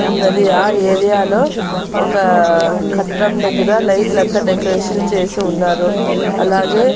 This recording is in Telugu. ఉన్నది ఆ ఏరియాలో ఒక కట్టడం దగ్గర లైట్లంతా డెకరేషన్ చేసి ఉన్నారు అలాగే--